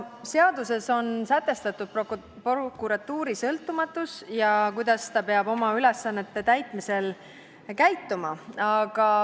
Seaduses on sätestatud prokuratuuri sõltumatus, see, kuidas ta peab oma ülesannete täitmisel käituma.